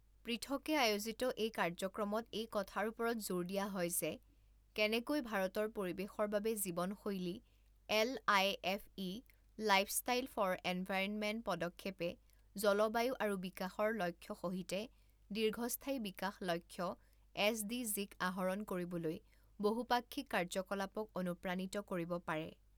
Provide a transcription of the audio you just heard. পৃথকে আয়োজিত এই কাৰ্যক্ৰমত এই কথাৰ ওপৰত জোৰ দিয়া হয় যে কেনেকৈ ভাৰতৰ পৰিৱেশৰ বাবে জীৱনশৈলী এলআইএফই লাইফষ্টাইল ফৰ এনভাইৰণমেণ্ট পদক্ষেপে জলবায়ু আৰু বিকাশৰ লক্ষ্য সহিতে দীৰ্ঘস্থায়ী বিকাশ লক্ষ্য এছডিজি ক আহৰণ কৰিবলৈ বহুপাক্ষিক কাৰ্যকলাপক অনুপ্ৰাণিত কৰিব পাৰে।